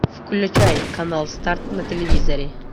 включай канал старт на телевизоре